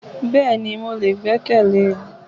Bẹ́ẹ̀ni ni mo lè gbẹ́kẹ̀le